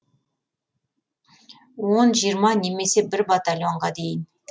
он жиырма немесе бір батальонға дейін